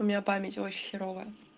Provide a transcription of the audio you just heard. у меня память очень херовая